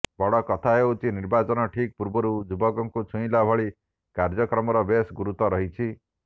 ବଡ କଥା ହେଉଛି ନିର୍ବାଚନ ଠିକ୍ ପୂର୍ବରୁ ଯୁବକଙ୍କୁ ଛୁଇଁଲା ଭଳି କାର୍ଯ୍ୟକ୍ରମର ବେଶ ଗୁରୁତ୍ୱ ରହିଛି